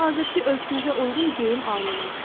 Hazırkı ölçünüzə uyğun geyim almayın.